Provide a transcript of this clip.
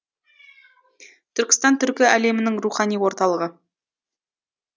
түркістан түркі әлемінің рухани орталығы